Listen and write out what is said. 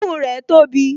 Imú rẹ̀ tóbi